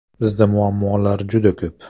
Bizda muammolar juda ko‘p.